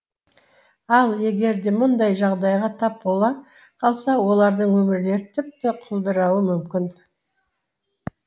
ал егер де мұндай жағдайға тап бола қалса олардың өмірлері тіпті құлдырауы мүмкін